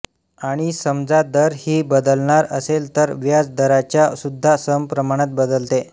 आणि समजा दर ही बदलणार असेल तर व्याज दराच्या सुद्धा सम प्रमाणात बदलते